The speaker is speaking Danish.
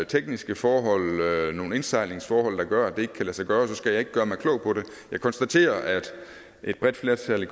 tekniske forhold nogle indsejlingsforhold der gør at det ikke kan lade sig gøre så skal jeg ikke gøre mig klog på det jeg konstaterer at et bredt flertal i